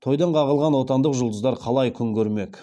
тойдан қағылған отандық жұлдыздар қалай күн көрмек